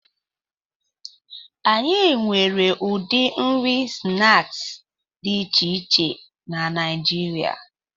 Anyị nwere ụdị nri snaakị dị iche iche na Naijiria